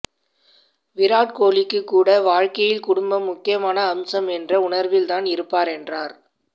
விராட் கோலிக்கு கூட வாழ்க்கையில் குடும்பம் முக்கியமான அம்சம் என்ற உணர்வில்தான் இருப்பார் என்றார்